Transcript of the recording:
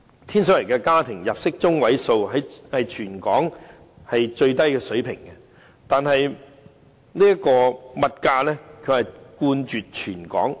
天水圍的家庭入息中位數屬全港最低水平，但物價卻冠絕全港。